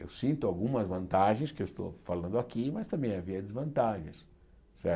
Eu sinto algumas vantagens que eu estou falando aqui, mas também havia desvantagens. Certo